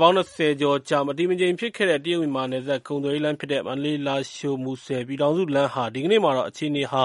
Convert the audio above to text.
ပေါင်း ၂၀ကျော်ကြာ မတည်မငြိမ်ဖြစ်ခဲ့တဲ့ တရုတ်မြန်မာနယ်စပ်ကုန်သွယ်ရေးလမ်းဖြစ်တဲ့ မန္တလေး- လားရှိုး- မူဆယ် ပြည်ထောင်စုလမ်းဟာ ဒီကနေ့မှာတော့ အခြေအနေဟာ